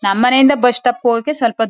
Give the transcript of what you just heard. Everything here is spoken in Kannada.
ನಮ್ ಮನೆ ಇಂದ ಬಸ್ ಸ್ಟಾಪ್ ಗೆ ಹೋಗಕ್ಕೆ ಸ್ವಲ್ಪ ದೂ--